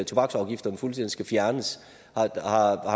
tobaksafgifterne fuldstændig skal fjernes har